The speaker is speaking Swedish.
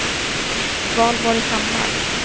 Valborg Hammar